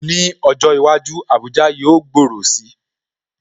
Ní ọjọ́ iwájú, Abuja yóò gbòòrò si